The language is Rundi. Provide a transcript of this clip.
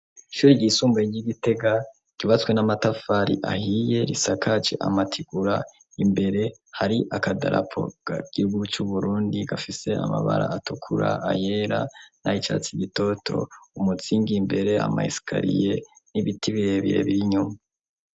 Ishuri ryisumbuye ry'igitega ribatswe n'amatafari ahiye risakaje amatigura imbere hari akadalapoga gihugu c'uburundi gafise amabara atukura ayela na icatsi igitoto umutsinga imbere amayisikariye n'ibiti birebire birinyuma.